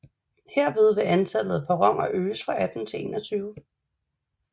Herved vil antallet af perroner øges fra 18 til 21